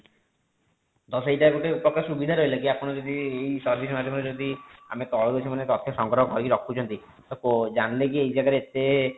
ତ ସେଇଟା ଗୋଟେ ପ୍ରକାର ସୁବିଧା ରହିଲା କି ଆପଣ ଯଦି ଏଇ service ମାଧ୍ୟମରେ ଯଦି ଆମ ତଳକୁ ସେମାନେ ତଥ୍ୟ ସଂଗ୍ରହ କରିକି ରଖୁଛନ୍ତି ତ ଜାଣିଲେ କି ଏଇ ଜାଗା ରେ ଏତେ